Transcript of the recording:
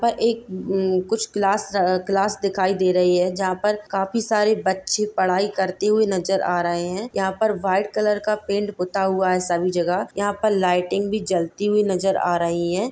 पर एक कुछ क्लास दिखाई दे रही है जहां पर काफी सारे बच्चे पढ़ाई करते हुए नजर आ रहे हैं यहाँ पर व्हाइट कलर का पेंट पूता हुआ हैं सभी जगह यहां पर लाईटिंग भी जलती हुई नजर आ रही है।